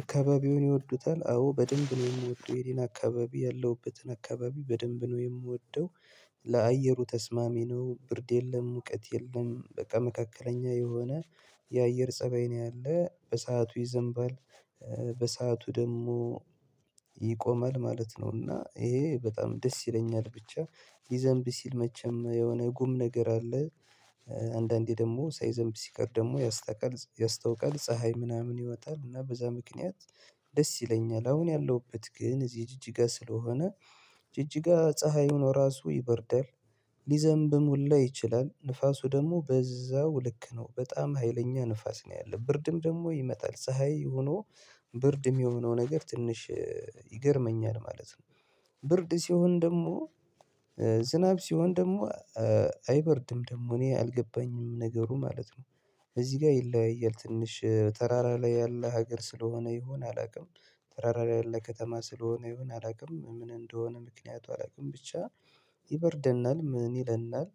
አካባቢውን ይወዱታል? አዎ በደንብ ነው የምወደው ይህን አካባቢ ያለሁበትን አካባቢ በደንብ ነው የምወደው። ለአየሩ ተስማሚ ነው። ብርድ የለ፣ ሙቀት የለም በቃ መካከለኛ የሆነ የአየር ፀባይ ነው ያለ። በሰአቱ ይዘንባ፤ በሰአቱ ደግሞ ይቆማል ማለት ነው እና ይሄ በጣም ደስ ይለኛል። ብቻ ይዘንቢ ሲል መቼም የሆነ ጉም ነገር አለ። አንዳንዴ ደግሞ ሳይዘንብ ሲቀር ደግሞ ያስተውቃል። ፀሐይ ምናምን ይወጣል እና በዛ ምክንያት ደስ ይለኛል። አሁን ያለሁበት ግን እዚህ ጅጅጋ ስለሆነ ጅጅጋ ፀሀይ ሆኖ ራሱ ይበርዳል። ሊዘንብም ሁላ ይችላል፤ ንፋሱ ደግሞ በዛው ልክ ነው፤ በጣም ሀይለኛ ንፋስ ነው ያለው፤ ብርድም ደግሞ ይመጣል። ፀሐይ ሆኖ ብርድም የሆነው ነገር ትንሽ ይገርመኛል ማለት ነው። ብርድ ሲሆን ደግሞ ዝናብ ሲሆን ደግሞ አይበርድም ደግሞ እኔ አልገባኝም ነገሩ ማለት ነው። እዚህ ጋር ይለያያል። ትንሽ ተራራ ላይ ያለ ሀገር ስለሆነ ይሆን አላውቅም። ተራራ ላይ ያለ ከተማ ስለሆነ ይሁን አላውቅም ምን እንደሆነ ምክንያቱ አላውቅም። ብቻ ምን ይለናል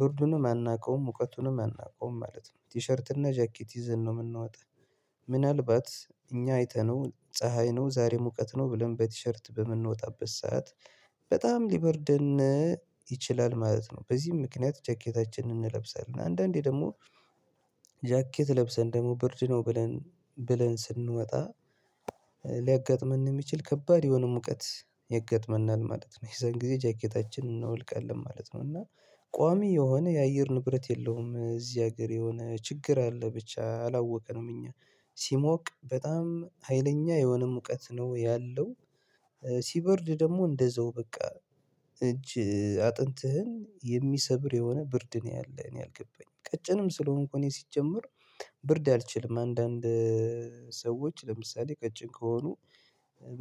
ብርዱንም አናውቀውም ሙቀቱንም አናውቀውም ማለት ነው ቲሸርት እና ጃኬት ይዘን ነው የምንወጣ። ምናልባት እኛ አይተነው ፀሀይ ነው ዛሬ ሙቀት ነው ብለን በቲሸርት በምንወጣበት ሰዓት በጣም ሊበርደን ይችላል ማለት ነው። በዚህም ምክንያት ጃኬታችንን እንለብሳለን አንዳንዴ ደግሞ ጃኬት ለብሰን ደግሞ ብርድ ነው ብለን ብለን ስንመጣ ሊያጋጥመን የሚችል ከባድ የሆነ ሙቀት ይገጥመናል ማለት ነው። የዛን ጊዜ ጃኬታችን እናውልቃለን ማለት ነው እና ቋሚ የሆነ የአየር ንብረት የለውም። እዚህ ሀገር የሆነ ችግር አለ ብቻ አላወቀንም። እኛ ሲሞቅ በጣም ሀይለኛ የሆነ ሙቀት ነው ያለው። ሲበርድ ደግሞ እንደዛው በቃ እጅ አጥንትህን የሚሰብር የሆነ ብርድ ነው ያለ። እኔ አልገባኝም ቀጭንም ስለሆንኩ እኔ ሲጀመር ብርድ አልችልም። አንዳንድ ሰዎች ለምሳሌ ቀጭን ከሆኑ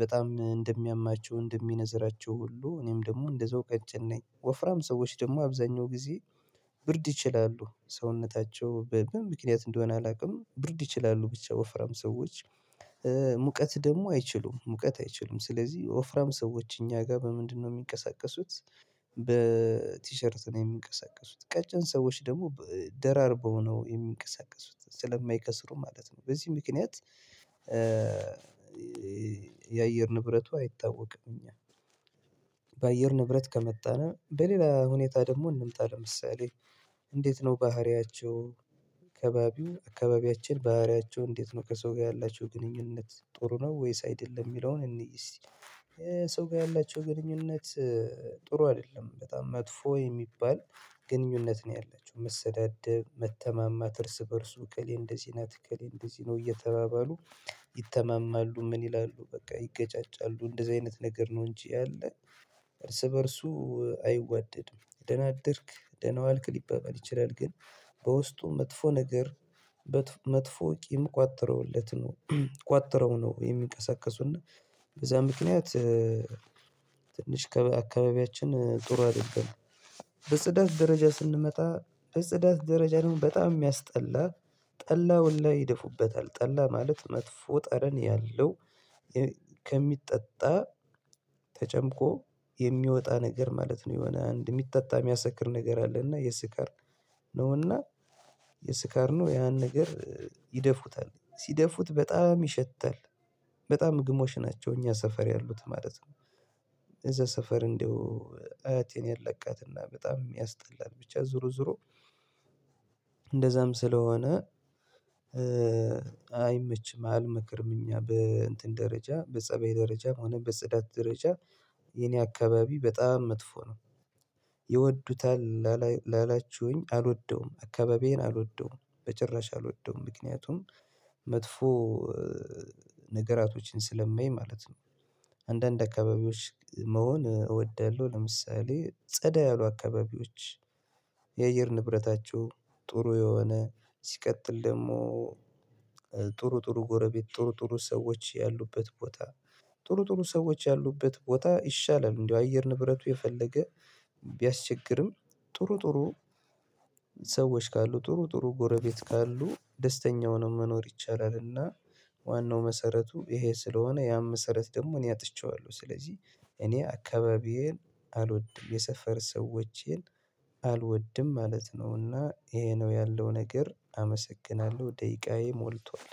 በጣም እንደሚያማቸው፣ እንደሚነዝራቸው ሁሉ እኔም ደግሞ እንደዛው ቀጭን ነኝ። ወፍራም ሰዎች ደግሞ አብዛኛው ጊዜ ብርድ ይችላሉ። ሰውነታቸው በምን ምክንያት እንደሆነ አላውቅም ብርድ ይችላሉ ብቻ ወፍራም ሰዎች። ሙቀት ደግሞ አይችሉም። ሙቀት አይችሉም ስለዚህ ወፍራም ሰዎች እኛ ጋር በምንድነው የሚንቀሳቀሱት በቲሸርት ነው የሚንቀሳቀሱ። ቀጭን ሰዎች ደግሞ ደራርበው ነው የሚንቀሳቀሱት ስለማይከስሩ ማለት ነው። በዚህ ምክንያት የአየር ንብረቱ አይታወቅም። እኛ በአየር ንብረት ከመጣን በሌላ ሁኔታ ደግሞ እንምጣ ለምሳሌ እንዴት ነው ባህሪያቸው ከባቢው አካባቢያችን ባህሪያቸው እንዴት ነው ከሰው ጋር ያላቸው ግንኙነት ጥሩ ነው ወይስ አይደለም የሚለውን እንይ እስቲ። የሰው ጋር ያላቸው ግንኙነት ጥሩ አይደለም። በጣም መጥፎ የሚባል ግንኙነት ነው ያላቸው። መሰዳደ፣ መተማማት እርስ በእርሱ እከሌ እንደዚህ ናት እከሌ እንደዚህ ነው እየተባባሉ ይተማማሉ፤ ምን ይላሉ፤ በቃ ይገጫጫሉ እንደዚህ አይነት ነገር ነው እንጂ ያለ እርስ በእርሱ አይዋደድም ደህና አደርግ ደህና ዋልክ ሊበበል ይችላል ግን በውስጡ መጥፎ ነገር መጥፎ ቂም ቋጥረውለት ነው ቋጥረው ነው የሚንቀሳቀሱና በዛ ምክንያት ከአካባቢያችን ጥሩ አይደለም። በጽዳት ደረጃ ስንመጣ በጽዳት ደረጃ ደግሞ በጣም የሚያስጠላ ጠላውን ላይ ይደፉበታል። ጠላ ማለት መጥፎ ጠረን ያለው ከሚጠጣ ተጨምቆ የሚወጣ ነገር ማለት ነው። የሆነ አንድ የሚጠጣ የሚያሰክር ነገር አለ እና የስካር ነው እና የስካር ነው ያን ነገር ይደፉታል፤ ሲደፉት በጣም ይሸታል፤ በጣም ግሞሽ ናቸው እኛ ሰፈር ያሉት ማለት ነው። እዛ ሰፈር እንደው አያቴን ያላቃትና በጣም ያስጠላል። ብቻ ዞሮ ዞሮ እንደዛም ስለሆነ አይመችም፤ አይመክርም። እኛ በእንትን ደረጃ በፀበይ ደረጃም ሆነ በጽዳት ደረጃ የኔ አካባቢ በጣም መጥፎ ነው። ይወዱታል ላላችሁኝ አልወደውም አካባቢዬን አልወደውም በጭራሽ አልወደውም። መጥፎ ነገራቶችን ስለማይ ማለት ነው። አንዳንድ አካባቢዎች መሆን እወዳለሁ ለምሳሌ ጸዳ ያሉ አካባቢዎች የአየር ንብረታቸው ጥሩ የሆነ፣ ሲቀጥል ደግሞ ጥሩ ጥሩ ጎረቤት፣ ጥሩ ጥሩ ሰዎች ያሉበት ቦታ ጥሩ ጥሩ ሰዎች ያሉበት ቦታ ይሻላል። እንደው አየር ንብረቱ የፈለገ ጥሩ ጥሩ ሰዎች ካሉ ጥሩ ጥሩ ጎረቤት ካሉ ደስተኛ ሆኖ መኖር ይቻላልና ዋናው መሰረቱ ይሄ ስለሆነ ያም መሰረት ደግሞ እኔ አጥቼዋለሁ። ስለዚህ እኔ አካባቢዬን አልወድም። የሰፈር ሰዎችን አልወድም ማለት ነውና ይሄ ነው ያለው ነገር አመሰግናለሁ ደቂቃዬ ሞልቷል።